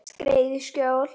Skreið í skjól.